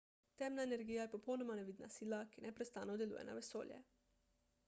temna energija je popolnoma nevidna sila ki neprestano deluje na vesolje